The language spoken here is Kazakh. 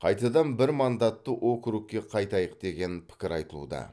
қайтадан бір мандатты округке қайтайық деген пікір айтылуда